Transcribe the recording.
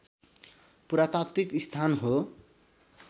पुरातात्विक स्थान हो